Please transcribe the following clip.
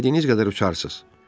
İstədiyiniz qədər uçarsınız.